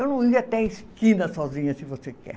Eu não ia até a esquina sozinha, se você quer.